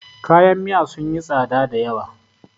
kayan Miya sun yi tsada da yawa